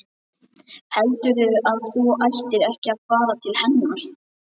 Heldurðu að þú ættir ekki að fara til hennar?